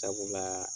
Sabula